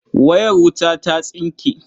Wayar wuta ta tsinke.